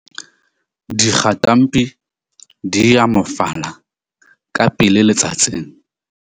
Dikgatampi di moyafala ka pele letsatsing.